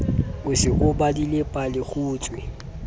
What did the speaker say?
o se o badile palekgutshwe